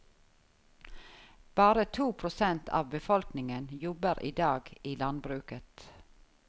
Bare to prosent av befolkningen jobber i dag i landbruket.